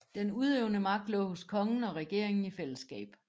Den udøvende magt lå hos kongen og regeringen i fællesskab